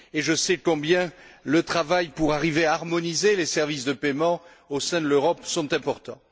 Je sais donc combien le travail pour arriver à harmoniser les services de paiement au sein de l'Europe est important.